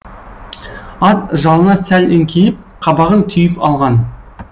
ат жалына сәл еңкейіп қабағын түйіп алған